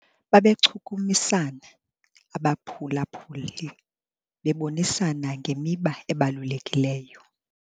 Babechukumisana abaphulaphuli bebonisana ngemiba ebalulekileyo.